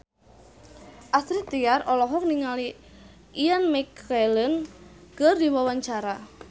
Astrid Tiar olohok ningali Ian McKellen keur diwawancara